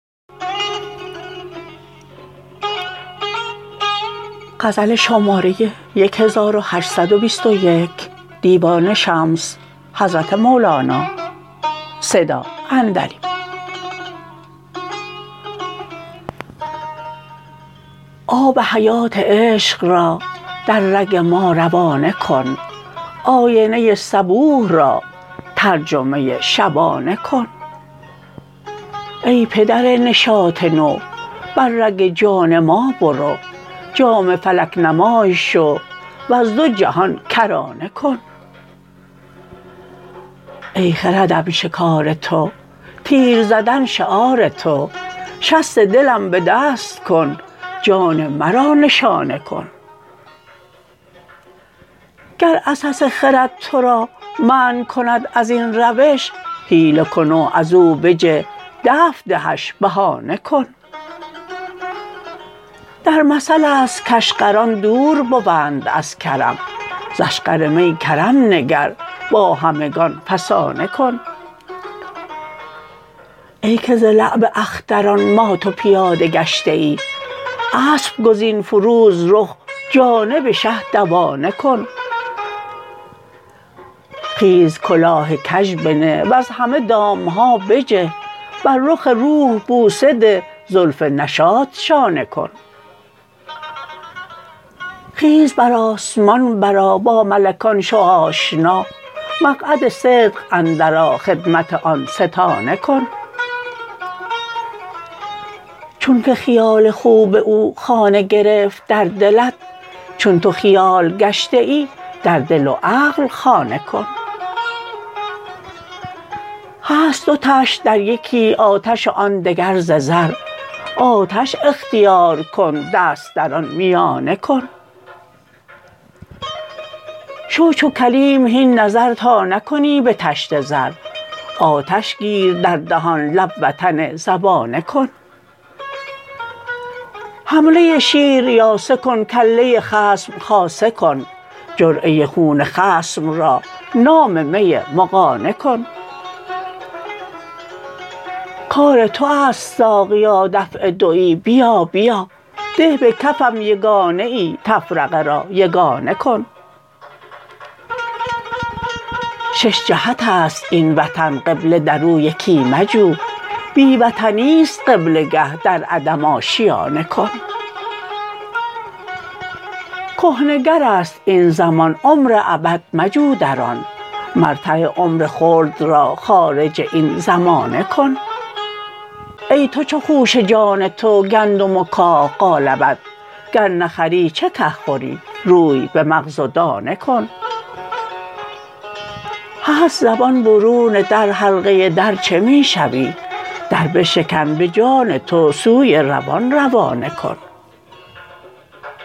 آب حیات عشق را در رگ ما روانه کن آینه صبوح را ترجمه شبانه کن ای پدر نشاط نو بر رگ جان ما برو جام فلک نمای شو وز دو جهان کرانه کن ای خردم شکار تو تیر زدن شعار تو شست دلم به دست کن جان مرا نشانه کن گر عسس خرد تو را منع کند از این روش حیله کن و ازو بجه دفع دهش بهانه کن در مثل است کاشقران دور بوند از کرم ز اشقر می کرم نگر با همگان فسانه کن ای که ز لعب اختران مات و پیاده گشته ای اسپ گزین فروز رخ جانب شه دوانه کن خیز کلاه کژ بنه وز همه دام ها بجه بر رخ روح بوسه ده زلف نشاط شانه کن خیز بر آسمان برآ با ملکان شو آشنا مقعد صدق اندرآ خدمت آن ستانه کن چونک خیال خوب او خانه گرفت در دلت چون تو خیال گشته ای در دل و عقل خانه کن هست دو طشت در یکی آتش و آن دگر ز زر آتش اختیار کن دست در آن میانه کن شو چو کلیم هین نظر تا نکنی به طشت زر آتش گیر در دهان لب وطن زبانه کن حمله شیر یاسه کن کله خصم خاصه کن جرعه خون خصم را نام می مغانه کن کار تو است ساقیا دفع دوی بیا بیا ده به کفم یگانه ای تفرقه را یگانه کن شش جهت است این وطن قبله در او یکی مجو بی وطنی است قبله گه در عدم آشیانه کن کهنه گر است این زمان عمر ابد مجو در آن مرتع عمر خلد را خارج این زمانه کن ای تو چو خوشه جان تو گندم و کاه قالبت گر نه خری چه که خوری روی به مغز و دانه کن هست زبان برون در حلقه در چه می شوی در بشکن به جان تو سوی روان روانه کن